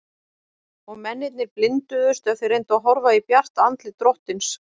Og mennirnir blinduðust ef þeir reyndu að horfa í bjart andlit drottins.